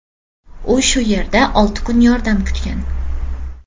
U o‘sha yerda olti kun yordam kutgan.